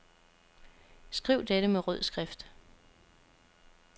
Skriv dette med rød skrift.